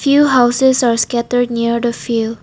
Few houses are scattered near the field.